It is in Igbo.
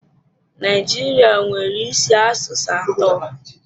Naijiria nwere isi asụsụ atọ.